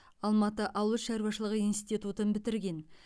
алматы ауыл шаруашылығы институтын бітірген